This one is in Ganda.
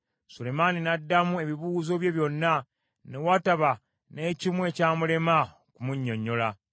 Sulemaani n’addamu ebibuuzo bye byonna, ne wataba n’ekimu ekyamulema okumunnyonnyola.